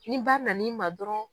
Ni ba na n'i ma dɔrɔn